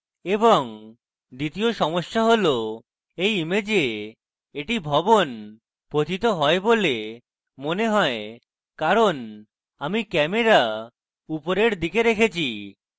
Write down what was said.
এবং দ্বিতীয় সমস্যা হল এই image এটি ভবন পতিত হয় মনে হয় কারণ আমি camera উপরের দিকে রেখেছি